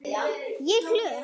Ég er glöð.